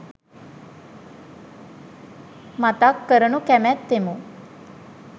මතක් කරනු කැමැත්තෙමු.